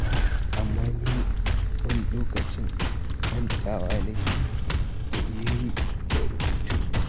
Amma ni wani lokacin mantawa ma nake yi da rubutun.